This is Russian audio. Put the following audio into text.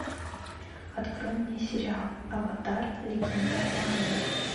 открой мне сериал аватар легенда об аанге